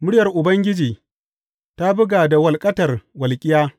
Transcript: Muryar Ubangiji ta buga da walƙatar walƙiya.